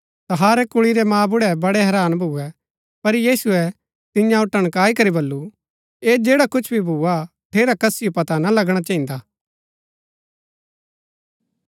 तहारै कुल्ळी रै मांबुड़ै बड़ै हैरान भुऐ पर यीशुऐ तिआंओ टणकाई करी वल्‍लु ऐह जैडा कुछ भी भुआ हा ठेरा कसिओ पता न लगणा चहिन्दा